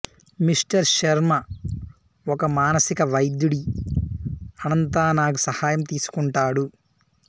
mister Sharma ఒక మానసిక వైద్యుడి అనంత నాగ్ సహాయం తీసుకుంటాడు